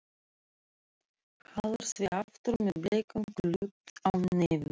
Hallar því aftur með bleikan klút á nefinu.